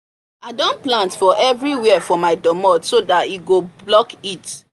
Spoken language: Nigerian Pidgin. i don plant for everywherefor my domot so that e go block heat